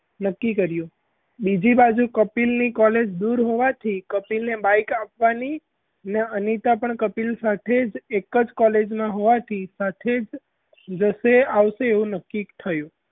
નક્કી કર્યું બીજી બાજુ કપિલની college દૂર હોવાથી કપિલ ને bike આપવાની અને અનીતા પણ કપિલ સાથે એક જ college માં હોવાથી સાથે જ જશે આવશે એવું નક્કી થયું.